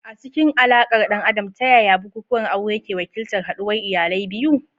A cikin alaƙar ɗan adam, ta yaya bukukuwan aure ke wakiltar haɗuwar iyalai biyu?